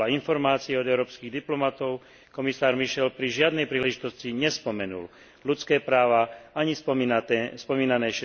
Podľa informácie od európskych diplomatov komisár Michel pri žiadnej príležitosti nespomenul ľudské práva ani spomínané